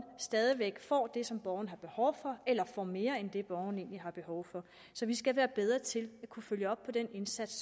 stadig væk får det som borgeren har behov for eller får mere end det borgeren egentlig har behov for så vi skal være bedre til at kunne følge op på den indsats